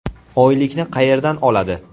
Oylikni qayerdan oladi?